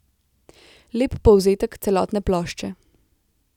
Lep povzetek celotne plošče.